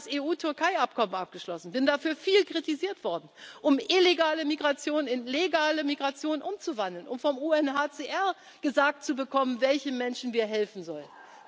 Deshalb habe ich das EU Türkei Abkommen abgeschlossen und bin dafür viel kritisiert worden, um illegale Migration in legale Migration umzuwandeln, um vom UNHCR gesagt zu bekommen, welchen Menschen wir helfen